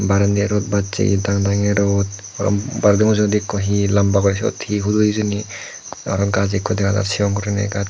bairendi rod bachegi dangdangye rod aro bairedi mujungedi ikko he lamba guri he pudo hijeni aro gajch ikko dega jar sigon guri gajch.